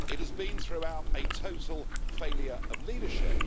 It has been throughout a total failure of leadership.